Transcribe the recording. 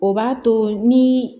O b'a to ni